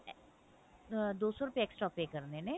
ah ਦੋ ਸੋ ਰੁਪਏ extra pay ਕਰਨੇ ਨੇ